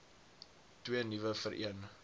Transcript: twee nuwe vereen